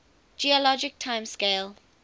geologic time scale